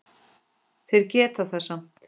Þeir geta það samt.